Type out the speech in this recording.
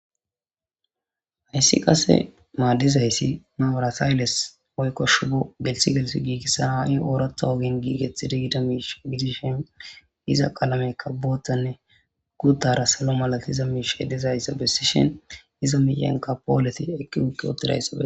hayssi qase maaddizayssi maburate haylles oykkoshu bo gelsi gelsi giigissa haa7i oorotha ogin giigethi digida miish gidishin iza qalamekka boottanne guddara salo malati iza miish edizayssa bessishin iza miiyenka pooleti eqqi utti utidayssa